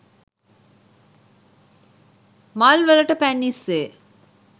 මල්වලට පැන් ඉස්සේ